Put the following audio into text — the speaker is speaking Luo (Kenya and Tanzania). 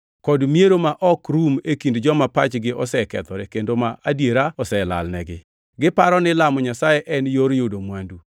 kod miero ma ok rum e kind joma pachgi osekethore kendo ma adiera oselalnigi. Giparo ni lamo Nyasaye en yor yudo mwandu.